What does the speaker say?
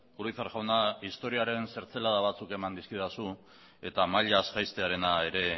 urizar jauna historiaren zertzelada batzuk eman dizkidazu eta mailaz jaistearena ere